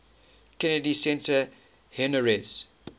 kennedy center honorees